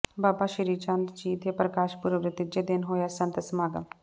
ਬਾਬਾ ਸ੍ਰੀਚੰਦ ਜੀ ਦੇ ਪ੍ਰਕਾਸ਼ ਪੁਰਬ ਦੇ ਤੀਜੇ ਦਿਨ ਹੋਇਆ ਸੰਤ ਸਮਾਗਮ